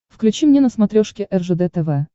включи мне на смотрешке ржд тв